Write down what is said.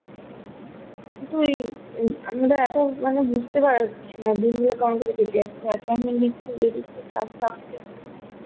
কিন্তু এই আ~আমরা এত মানে বুঝতে পারছিনা দিনগুলো কেমন করে কেটে যাচ্ছে assignment ইয়ে দিচ্ছে class থাকছে